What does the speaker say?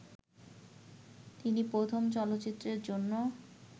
তিনি প্রথম চলচ্চিত্রের জন্য